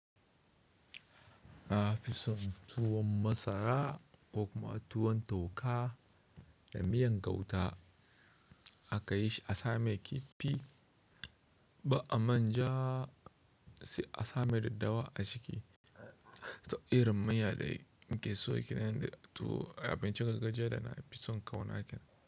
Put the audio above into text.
Na fison tuwon masara ko kuma tuwon toka da miyan gauta aka yi shi a samai kifi, ba a manja sai a sama da daddawa a ciki. Ta irin miyya dai mikesayowa kenan to tuwo abincin gargajiya da na fison ƙaunaki kenan.